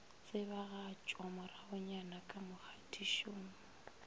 tsebagatšwa moragonyana ka mo kgatišong